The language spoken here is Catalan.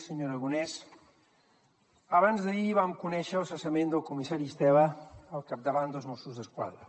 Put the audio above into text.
senyor aragonès abans d’ahir vam conèixer el cessament del comissari estela al capdavant dels mossos d’esquadra